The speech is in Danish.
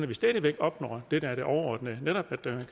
vi stadig væk opnår det der er det overordnede netop